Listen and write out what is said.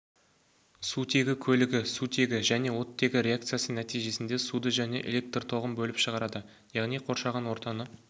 сутегі көлігі сутегі және оттегі реакциясы нәтижесінде суды және электр тоғын бөліп шығарады яғни қоршаған ортаны